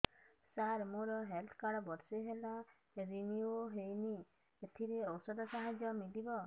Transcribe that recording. ସାର ମୋର health card ବର୍ଷେ ହେଲା ରିନିଓ ହେଇନି ଏଥିରେ ଔଷଧ ସାହାଯ୍ୟ ମିଳିବ